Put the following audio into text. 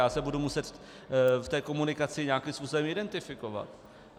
Já se budu muset v té komunikaci nějakým způsobem identifikovat.